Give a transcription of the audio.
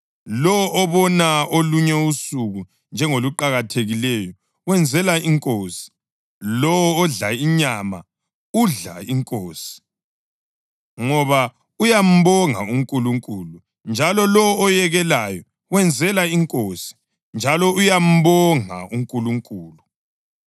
Lowo obona olunye usuku njengoluqakathekileyo, wenzela iNkosi. Lowo odla inyama, udlela iNkosi, ngoba uyambonga uNkulunkulu; njalo lowo oyekelayo, wenzela iNkosi, njalo uyambonga uNkulunkulu.